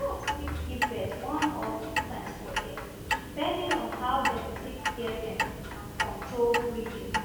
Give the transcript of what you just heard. goats fit give born one or two times for year depending on how dem take care dem and control breeding